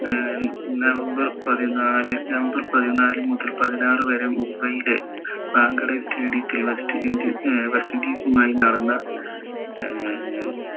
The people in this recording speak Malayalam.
ഏർ നവംബർ പതിനാല് നവംബർ പതിനാല് മുതൽ പതിനാറ് മുംബൈ ലെ wankhede stadium ത്തിൽ വെച്ച് വെസ്റ്റ് ഇൻഡീസുമായി നടന്ന ഏർ